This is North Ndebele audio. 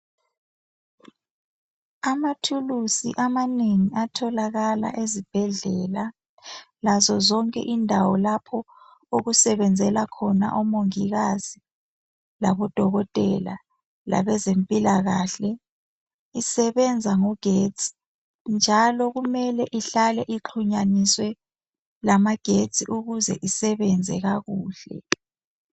Amathulusi amanengi atholakala ezibhedlela lazo zonke indawo lapho okusebenzela khona omongikazi labo dokotela labezempilakahle . Isebenza ngogetsi njalo kumele ihlale ixhunyaniswe lamagetsi ukuze isebenze kakuhle .